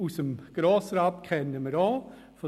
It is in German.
Aus dem Grossen Rat kennen wir ihn auch.